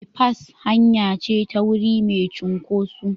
Bipas hanya ce ta wuri mai cunkoso.